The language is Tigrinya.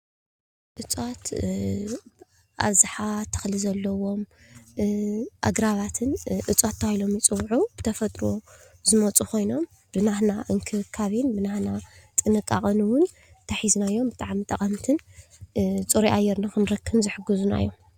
እፅዋት አብዛሓ ተክሊ ዘለዎም አግራባትን እፅዋት ተባሂሎም ይፅውዑ። ብተፈጥሮ ዝመፁ ኮይኖም ብናህና እንክብከቤን ብናትና ጥንቓቐን እዉን እንተሒዝናዮም ብጣዕሚ ጠቐምትን ፅሩይ አየር ንክረክብን ዝሕግዙና እዮም።